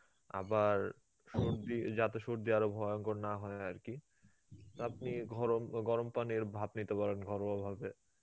আবার সর্দি, যাতে সর্দি আরো ভয়ঙ্কর না হয় আরকি আপনি ঘরম গরম পানির ভাপ নিতে পারেন ঘরোয়া ভাবে.